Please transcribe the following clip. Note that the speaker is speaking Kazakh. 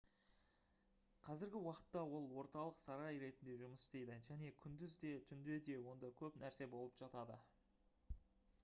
қазіргі уақытта ол орталық сарай ретінде жұмыс істейді және күндіз де түнде де онда көп нәрсе болып жатады